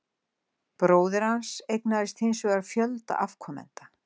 Bróðir hans eignaðist hins vegar fjölda afkomenda.